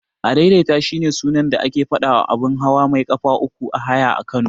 Adaidaita shine sunan da ake faɗawa abun hawa mai ƙafa uku na haya a Kano.